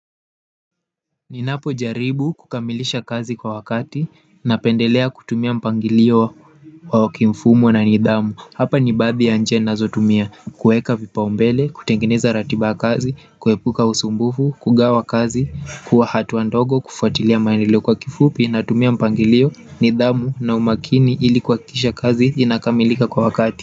Ninapojaribu kukamilisha kazi kwa wakati napendelea kutumia mpangilio kwa kimfumo na nidhamu hapa ni baadhi ya njia nazotumia kueka vipaumbele, kutengeneza ratiba ya kazi, kuepuka usumbufu, kugawa kazi, kuwa hatua ndogo kufuatilia maendeleo, kwa kifupi natumia mpangilio, nidhamu na umakini ili kuhakikisha kazi inakamilika kwa wakati.